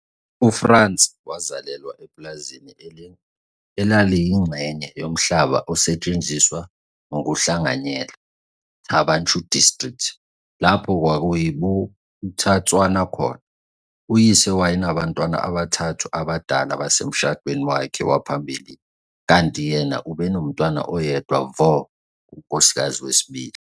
UFrans wazalelwa epulazini elaliyingxenye yomhlaba osetshenziswa ngokuhlanganyela, Thaba Nchu District, lapho kwakuyi Bophuthatswana khona. Uyise wayenabantwana abathathu abadala basemshadweni wakhe waphambilini kanti yena ubenontwana oyedwa vo kunkosikazi wesibili.